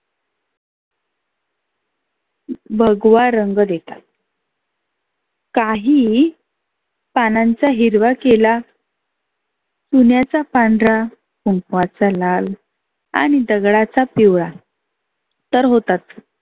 भगवा रंग देतात. काही पानांचा हिरवा केला चुण्याचा पांढरा कुंकवाचा लाल, आणि दगडाचा पिवळा. तर होतात